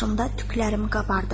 Başımda tüklərim qabardı.